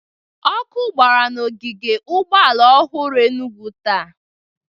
Ọkụ gbara n'ogige ụgbọala ọhụrụ Enugwu taa